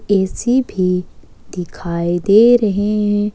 AC भी दिखाई दे रहे हैं ।